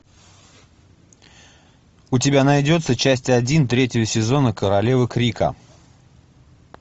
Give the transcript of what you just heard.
у тебя найдется часть один третьего сезона королева крика